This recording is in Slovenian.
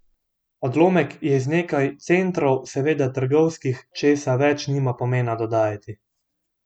Odlomek je iz Nekaj centrov, seveda trgovskih, česa več nima pomena dodajati.